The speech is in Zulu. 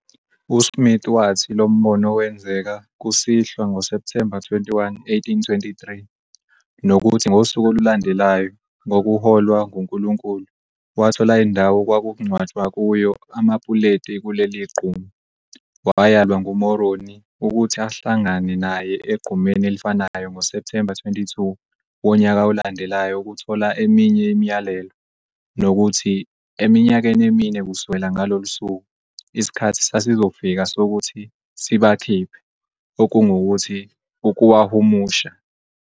USmith wathi lo mbono wenzeka kusihlwa ngoSepthemba 21, 1823, nokuthi ngosuku olulandelayo, ngokuholwa nguNkulunkulu, wathola indawo okwakungcwatshwa kuyo amapuleti kuleli gquma, wayalwa nguMoroni ukuthi ahlangane naye egqumeni elifanayo ngoSepthemba 22 wonyaka olandelayo ukuthola eminye imiyalelo, nokuthi, eminyakeni emine kusukela ngalolu suku, isikhathi sasizofika sokuthi "sibakhiphe", okungukuthi, ukuwahumusha.